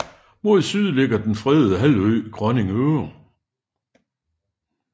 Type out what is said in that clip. Mod syd ligger den fredede halvø Grønning Øre